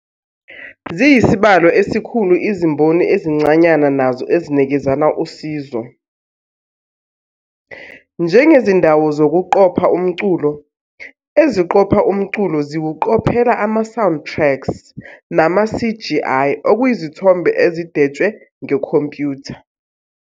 Ziyisibalo esikhulu izimboni ezincanyana nazo ezinikezana usizo, njengezindawo zokuqopha umculo, eziqopha umculo ziwuqophela ama-sound tracks, nama-CGI okuyizithombe ezidwetshwe ngekhompyutha.